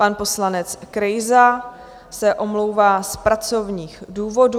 Pan poslanec Krejza se omlouvá z pracovních důvodů.